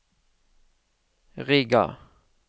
Riga